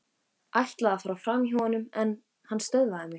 Ætlaði að fara framhjá honum en hann stöðvaði mig.